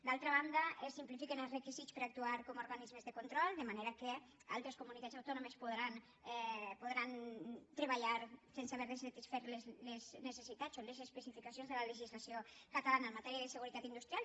d’altra banda es simplifiquen els requisits per a actuar com a organismes de control de manera que altres comunitats autònomes podran treballar sense haver de satisfer les necessitats o les especificacions de la legislació catalana en matèria de seguretat industrial